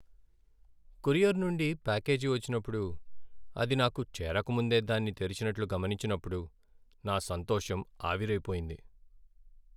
Courier నుండి package వచ్చినప్పుడు, అది నాకు చేరకముందే దాన్ని తెరిచినట్లు గమనించినప్పుడు నా సంతోషం ఆవిరై పోయింది.